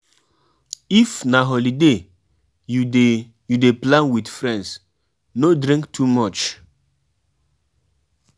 I don plan how I go follow my parents go Jamaica during the holiday